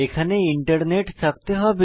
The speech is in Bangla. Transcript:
এখানে ইন্টারনেট থাকতে হবে